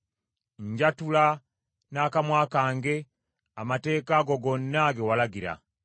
Njatula n’akamwa kange amateeka go gonna ge walagira.